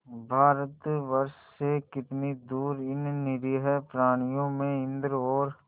भारतवर्ष से कितनी दूर इन निरीह प्राणियों में इंद्र और